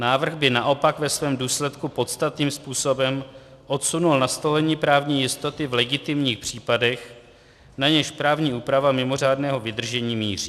Návrh by naopak ve svém důsledku podstatným způsobem odsunul nastolení právní jistoty v legitimních případech, na něž právní úprava mimořádného vydržení míří.